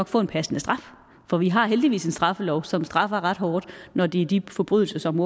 få en passende straf for vi har heldigvis en straffelov som straffer ret hårdt når det er de forbrydelser som